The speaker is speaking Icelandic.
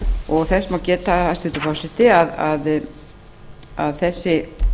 og þess má geta hæstvirtur forseti að þessi